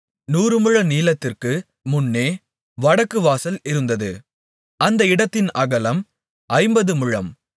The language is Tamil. நூறு முழ நீளத்திற்கு முன்னே வடக்கு வாசல் இருந்தது அந்த இடத்தின் அகலம் ஐம்பது முழம்